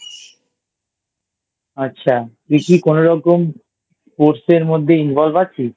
আচ্ছা তুই কি কোনরকম Sports এর মধ্যে Involve আছিস?